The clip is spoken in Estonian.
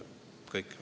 Kõik.